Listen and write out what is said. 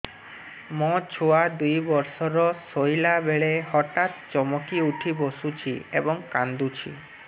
ମୋ ଛୁଆ ଦୁଇ ବର୍ଷର ଶୋଇଲା ବେଳେ ହଠାତ୍ ଚମକି ଉଠି ବସୁଛି ଏବଂ କାଂଦୁଛି